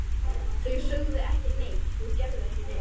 Þau sögðu ekki neitt, gerðu ekki neitt.